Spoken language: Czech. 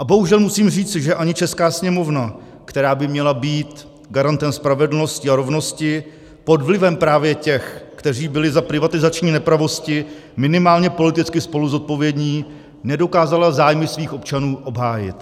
A bohužel musím říci, že ani česká Sněmovna, která by měla být garantem spravedlnosti a rovnosti, pod vlivem právě těch, kteří byli za privatizační nepravosti minimálně politicky spoluzodpovědní, nedokázala zájmy svých občanů obhájit.